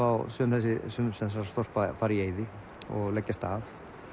á sum þessara þorpa fara í eyði og leggjast af